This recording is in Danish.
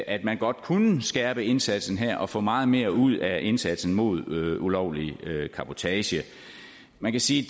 at man godt kunne skærpe indsatsen her og få meget mere ud af indsatsen mod ulovlig cabotage man kan sige